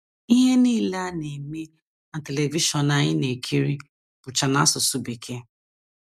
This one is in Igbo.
Ihe nile a na - eme na Televishọn anyị na - ekiri bụcha n’asụsụ Bekee.